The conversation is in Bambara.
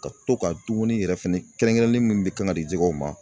Ka to ka dumuni yɛrɛ fɛnɛ kɛrɛnkɛrɛnnen min be kan ka di jɛgɛw ma